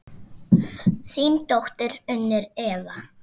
Þín dóttir, Unnur Eva.